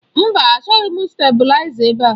Mba, achọghị stabụlaiza ebe a.